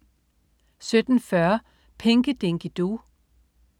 17.40 Pinky Dinky Doo